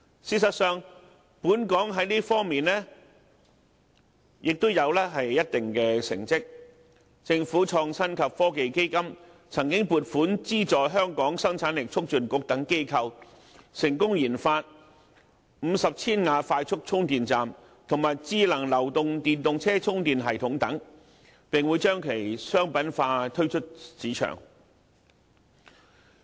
事實上，本港在這方面亦有一定的成績，政府創新及科技基金曾經撥款資助香港生產力促進局等機構，成功研發50千瓦快速充電站，以及智能流動電動車充電系統等，並會將其商品化，推出市場。